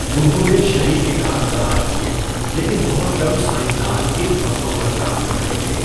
انہوں نے شریک کار تلاش کیے، لیکن بہت کم سائنسدان اِن فصلوں پر کام کر رہے تھے۔